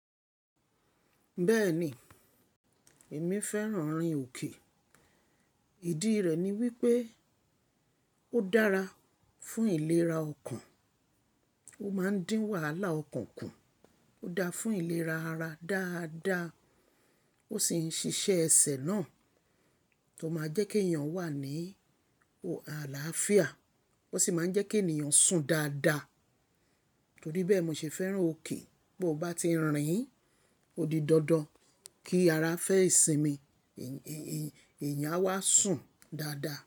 Bẹ́ẹ̀n, èmi fẹ́ràn rin òkè. Ìdí rẹ̀ ni wípé ó dára fún ìlera ọkàn, ó máa ń dín wàhálà ọkàn kù, ó dáa fún ìlera ara dáadáa, ó sì ń ṣiṣẹ́ ẹsẹ̀ náà, tó máa jẹ́ kí èèyàn wà ní òhà àlàáfíà, ó sì máa ń jẹ́ kí ènìyàn sùn dáadáa. Torí bẹ́ẹ̀ mo ṣe fẹ́ràn òkè. Bó bá ti rìn, ó di dandan, kí ara fẹ́ ìsinmi èèyàn a wá sùn dáadáa.